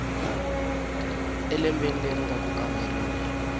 elembeni leri nga ku kamberiweni